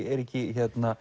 eru ekki